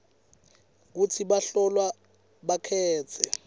kutsi bahlolwa bakhetse